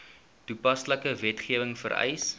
toepaslike wetgewing vereis